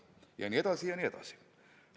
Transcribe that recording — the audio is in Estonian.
Ja nii edasi ja nii edasi.